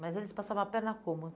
Mas eles passavam a perna como?